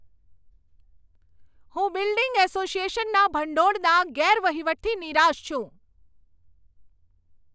હું બિલ્ડિંગ એસોસિએશનના ભંડોળના ગેરવહીવટથી નિરાશ છું.